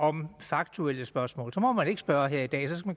om faktuelle spørgsmål sådan må man ikke spørge her i dag så skal